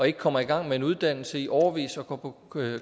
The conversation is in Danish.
ikke kommer i gang med en uddannelse i årevis og går på